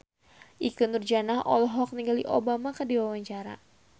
Ikke Nurjanah olohok ningali Obama keur diwawancara